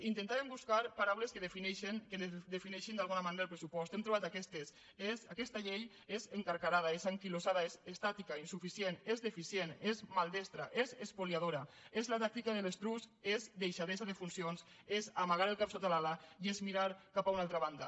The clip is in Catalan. intentàrem buscar paraules que defineixin d’alguna manera el pressupost hem trobat aquestes aquesta llei és encarcarada és anquilosada és estàtica insuficient és deficient és maldestra és espoliadora és la tàctica de l’estruç és deixadesa de funcions és amagar el cap sota l’ala i és mirar cap a una altra banda